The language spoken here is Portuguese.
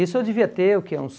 Isso eu devia ter o que, uns